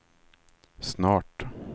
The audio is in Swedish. snart